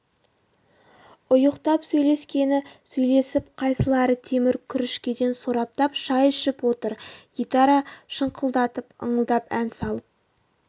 ұйықтап сөйлескені сөйлесіп қайсылары темір күрішкеден сораптап шай ішіп отыр гитара шыңқылдатып ыңылдап ән салып